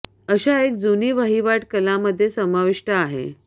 अशा एक जुनी वहिवाट कला मध्ये समाविष्ट आहे